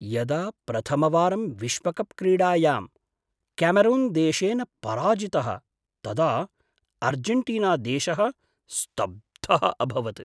यदा प्रथमवारं विश्वकप् क्रीडायां क्यामरून्देशेन पराजितः तदा आर्जेण्टीनादेशः स्तब्धः अभवत्।